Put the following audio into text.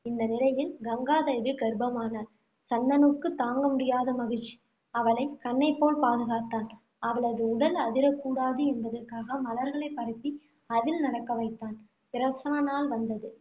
இந்த நிலையில் கங்காதேவி கர்ப்பமானாள். சந்தனுவுக்கு தாங்க முடியாத மகிழ்ச்சி. அவளைக் கண்ணைப் போல் பாதுகாத்தான். அவளது உடல் அதிரக்கூடாது என்பதற்காக மலர்களை பரப்பி அதில் நடக்க வைத்தான் பிரசவ நாள் வந்தது.